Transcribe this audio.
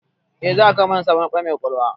Eh, za a kawo mana sabon na'ura mai ƙwaƙwalwa